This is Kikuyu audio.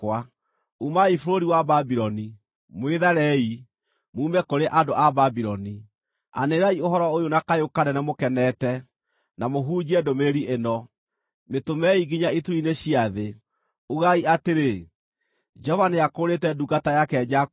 Umai bũrũri wa Babuloni, mwĩtharei, muume kũrĩ andũ a Babuloni! Anĩrĩrai ũhoro ũyũ na kayũ kanene mũkenete, na mũhunjie ndũmĩrĩri ĩno. Mĩtũmei nginya ituri-inĩ cia thĩ; ugai atĩrĩ, “Jehova nĩakũũrĩte ndungata yake Jakubu.”